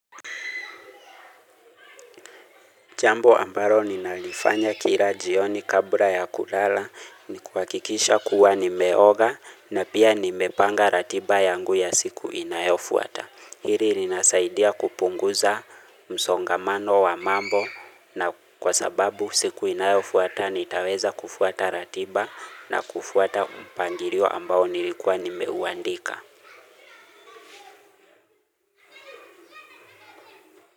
Jambo ambalo ninalifanya kila jioni kabla ya kulala ni kuhakikisha kuwa nimeoga na pia nimepanga ratiba yangu ya siku inayofuata. Hili linasaidia kupunguza msongamano wa mambo na kwa sababu siku inayofuata nitaweza kufuata ratiba na kufuata mpangilio ambao nilikuwa nimeuandika.